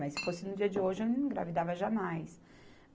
Mas se fosse no dia de hoje, eu não engravidava jamais.